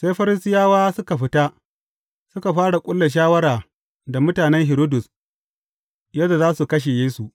Sai Farisiyawa suka fita, suka fara ƙulla shawara da mutanen Hiridus yadda za su kashe Yesu.